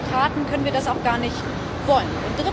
Und als Demokraten können wir das auch gar nicht wollen.